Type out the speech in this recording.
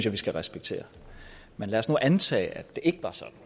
vi skal respektere men lad os nu antage at det ikke var sådan